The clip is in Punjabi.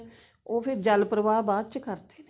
ਉਹ ਫ਼ੇਰ ਜਲ ਪ੍ਰਵਾਹ ਬਾਅਦ ਚ ਕਰਦੇ ਨੇ